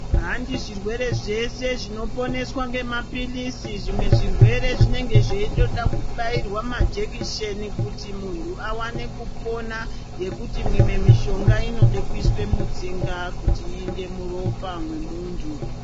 Handi zvirwere zveshe zvino poneswa nge mapilisi zvimwe zvirwere zvinenge zveitoda ku bairwa ma jekiseni kuti muntu awane kupona ngekuti mimwe mishonga inode kuiswe mutsinga kuti iende muropa memuntu.